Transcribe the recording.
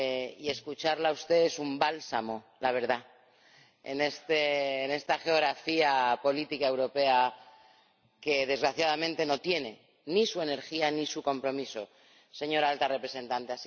Y escucharla a usted es un bálsamo, la verdad, en esta geografía política europea que, desgraciadamente, no tiene ni su energía ni su compromiso, señora Alta Representante.